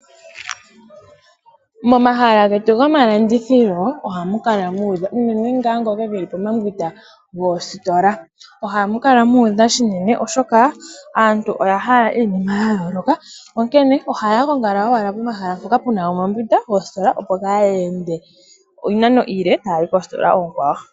Momahala getu gomalandithilo ohamu kala muudha unene ngaa ngoka geli pomambwinda goositola. Ohamu kala mu udha shinene oshoka aantu oya hala iinima ya yooloka, onkene ohaya gongala owala pomahala mpoka pu na omambwinda goositola opo kaaya ende iinano iile taya yi koositola oonkwawo.